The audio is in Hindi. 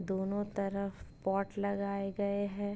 दोनों तरफ पॉट लगाए गए हैं।